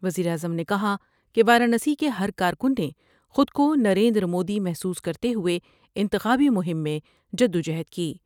وزیراعظم نے کہا کہ وارانسی کے ہر کارکن نے خودکونریندرمودی محسوس کرتے ہوئے انتخابی مہم میں جد و جہد کی ۔